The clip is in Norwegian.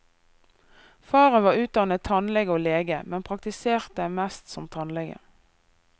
Faren var utdannet tannlege og lege, men praktiserte mest som tannlege.